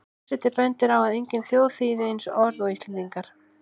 Forseti bendir á að engin þjóð þýði orð eins og Íslendingar.